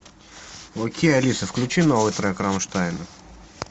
окей алиса включи новый трек рамштайна